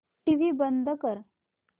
TV बंद कर